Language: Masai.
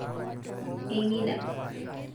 engida